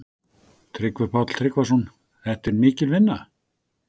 Tryggvi Páll Tryggvason: Þetta er mikil vinna?